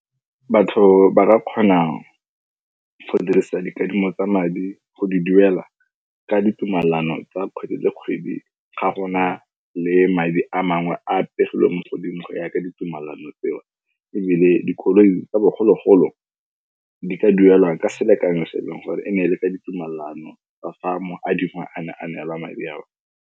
Batho ba ba kgonang go dirisa dikadimo tsa madi go di duela ka ditumalano tsa kgwedi le kgwedi ga gona le madi a mangwe a pegelo mo godimo go yaka ditumalano tseo ebile dikoloi tsa bogologolo di ka duelwang ka selekanyo se e leng gore e ne e le ka ditumalano tseo ebile mo adima a ne a neelwa madi ao.